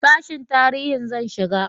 sashin tarihi zan shiga